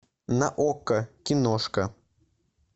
на окко киношка